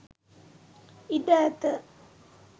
ඉඩ ඇත.